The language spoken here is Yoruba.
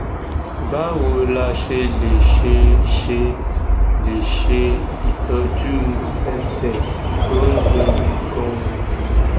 báwo la ṣe lè ṣe ṣe lè ṣe itoju ẹsẹ to n dunni ganan